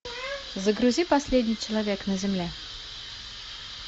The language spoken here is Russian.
загрузи последний человек на земле